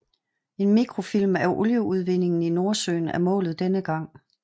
En mikrofilm af olieudvindingen i Nordsøen er målet denne gang